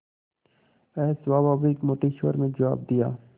अस्वाभाविक मोटे स्वर में जवाब दिया